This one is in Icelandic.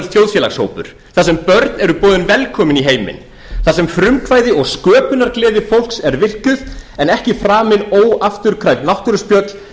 þjóðfélagshópur þar sem börn eru boðin velkomin í heiminn þar sem frumkvæði og sköpunargleði fólks er virkjuð en ekki framið óafturkræf náttúruspjöll